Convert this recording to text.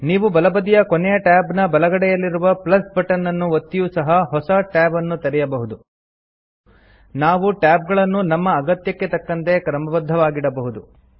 ನೀವು ಬಲಬದಿಯ ಕೊನೆಯ ಟ್ಯಾಬ್ನ ಬಲಗಡೆಯಲ್ಲಿರುವ ಬಟ್ಟನ್ ನನ್ನು ಒತ್ತಿಯೂ ಸಹ ಹೊಸ ಟ್ಯಾಬ್ ಅನ್ನು ತೆರೆಯಬಹುದು ನಾವು ಟ್ಯಾಬ್ ಗಳನ್ನು ನಮ್ಮ ಅಗತ್ಯಕ್ಕೆ ತಕ್ಕಂತೆ ಕ್ರಮಬದ್ದವಾಗಿಡಬಹುದು